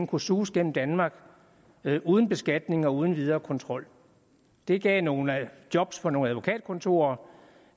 kunne suse gennem danmark uden beskatning og uden videre kontrol det gav nogle job for nogle advokatkontorer